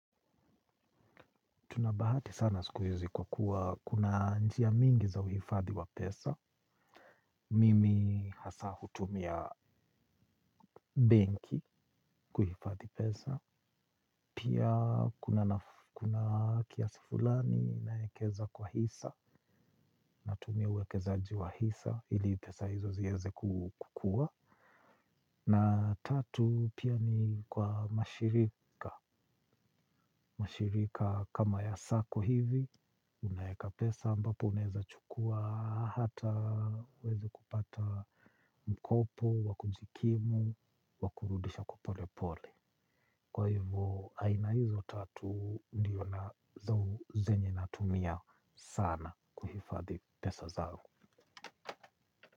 Tuna bahati sana sikuhizi kwa kuwa kuna njia mingi za uhifadhi wa pesa. Mimi hasa hutumia benki kuhifadhi pesa. Pia kuna kiasi fulani naekeza kwa hisa. Natumia uwekezaji wa hisa ili pesa hizo ziweze kukua. Na tatu pia ni kwa mashirika. Mashirika kama ya sako hivi. Unaeka pesa ambapo unaeza chukua hata uweze kupata mkopo, wakujikimu, wakurudisha kwa pole pole. Kwa hivyo aina hizo tatu ndiyo na zau zenye natumia sana kuhifadhi pesa zangu.